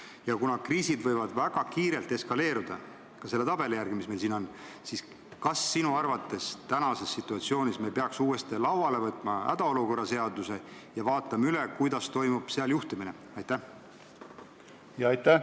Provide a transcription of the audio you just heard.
Ja kuna kriisid võivad väga kiirelt eskaleeruda – seda näitab ka joonis, mis meil siin on –, siis kas sinu arvates peaks uuesti lauale võtma hädaolukorra seaduse ja vaatama üle, kuidas seal juhtimine sätestatud on?